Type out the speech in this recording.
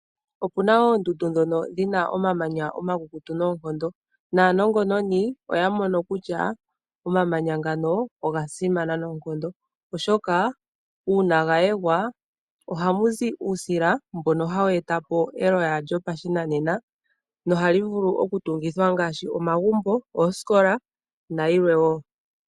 Opuna oondundu dhoko dhina omamanya omakukutu noonkondo naanongononi oya mono kutya omamanya ogo tuu ngoka ogeli gasimana noonkondo oshoka uuna gayegwa ohamu zi uusila mboka hawu e ta po eloya lyoka lyopashinanena hakutiwa oosamende, dhoka nee hadhi tungithwa omagumbo nosho woo iikwawo oyindji.